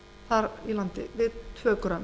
þar í landi við tvö grömm